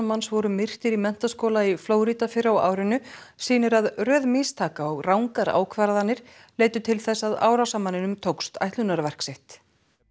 manns voru myrtir í menntaskóla í Flórída fyrr á árinu sýnir að röð mistaka og rangar ákvarðanir leiddu til þess að árásarmanninum tókst ætlunarverk sitt